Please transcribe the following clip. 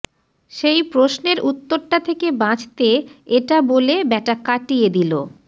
সেই প্রশ্নের উত্তরটা থেকে বাঁচতে এটা বলে ব্যাটা কাটিয়ে দিল